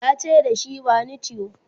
yace dashi "bani tiyo!"